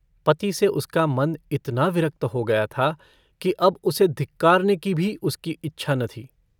पति से उसका मन इतना विरक्त हो गया था कि अब उसे धिक्कारने की भी उसकी इच्छा न थी।